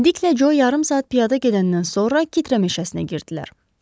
Diklə Jo yarım saat piyada gedəndən sonra kitrə meşəsinə girdilər.